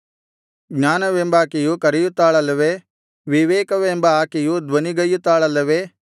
ಜ್ಞಾನವೆಂಬಾಕೆಯು ಕರೆಯುತ್ತಾಳಲ್ಲವೇ ವಿವೇಕವೆಂಬ ಆಕೆಯು ಧ್ವನಿಗೈಯುತ್ತಾಳಲ್ಲವೇ